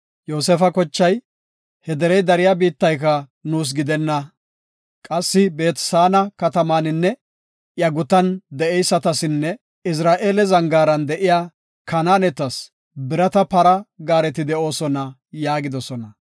Yoosefa kochay, “He derey dariya biittayka nuus gidenna. Qassi Beet-Saana katamaninne iya gutan de7eysatasinne Izra7eele zangaaran de7iya Kanaanetas birata para gaareti de7oosona” yaagidosona.